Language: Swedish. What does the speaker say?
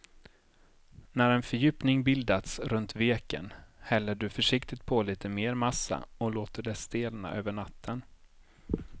När en fördjupning bildats runt veken häller du försiktigt på lite mer massa och låter det stelna över natten.